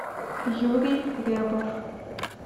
юрий рябов